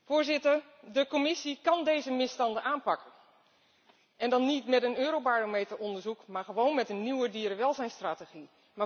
Voorzitter, de Commissie kan deze misstanden aanpakken en dan niet met een Eurobarometer onderzoek maar gewoon met een nieuwe dierenwelzijnsstrategie.